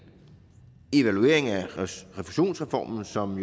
evaluering af refusionsreformen som